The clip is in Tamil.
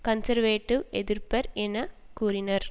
கன்சர்வேடிவ் எதிர்ப்பர் என் கூறினர்